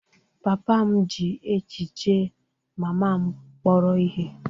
Papa m ji echiche mama m kpọrọ ihe.